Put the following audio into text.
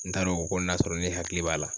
N t'a dɔn o ko n'a sɔrɔ ne hakili b'a la.